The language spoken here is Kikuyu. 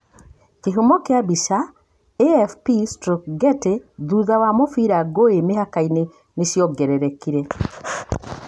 Kĩhumo kia bicha, AFP/Getty thutha wa mũbira, ngũĩ mĩhaka-inĩ nĩ ciongererekire.